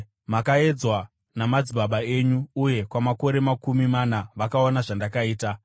mandakaedzwa namadzibaba enyu uye kwamakore makumi mana vakaona zvandakaita.